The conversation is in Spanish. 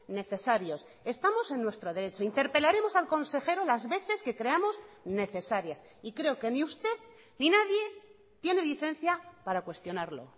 necesarios estamos en nuestro derecho interpelaremos al consejero las veces que creamos necesarias y creo que ni usted ni nadie tiene licencia para cuestionarlo